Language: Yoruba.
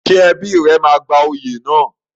Ṣé ẹbí rẹ máa gba oyè náà?